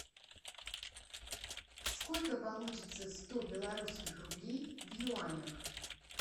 сколько получится сто белорусских рублей в юанях